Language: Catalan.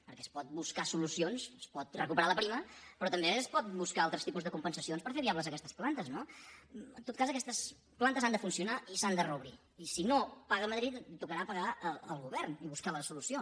perquè es poden buscar solucions es pot recuperar la prima però també es poden buscar altres tipus de compensacions per fer viables aquestes plantes no en tot cas aquestes plantes han de funcionar i s’han de reobrir i si no paga madrid tocarà pagar al govern i buscar la solució